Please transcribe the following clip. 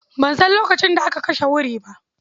Ban san lokacin da aka kashe wuri ba.